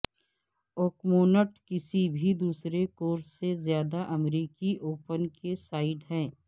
Oakmont کسی بھی دوسرے کورس سے زیادہ امریکی اوپن کی سائٹ ہے